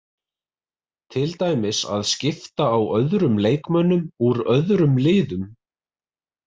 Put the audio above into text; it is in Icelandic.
Til dæmis að skipta á öðrum leikmönnum úr öðrum liðum.